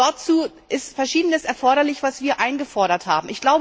Dazu ist Verschiedenes erforderlich, was wir eingefordert haben.